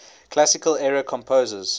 classical era composers